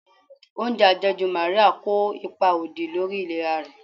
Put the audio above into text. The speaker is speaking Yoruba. Oúnjẹ àjẹjù Maria kó ipa òdì lórí ìlera rẹ̀.